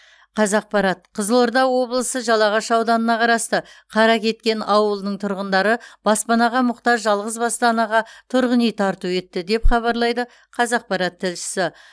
қазақпарат қызылорда облысы жалағаш ауданына қарасты қаракеткен ауылының тұрғындары баспанаға мұқтаж жалғызбасты анаға тұрғын үй тарту етті деп хабарлайды қазақпарат тілшісі